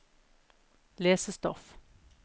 lesestoff